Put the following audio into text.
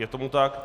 Je tomu tak.